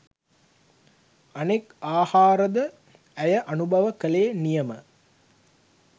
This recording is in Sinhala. අනෙක් ආහාරද ඇය අනුභව කළේ නියම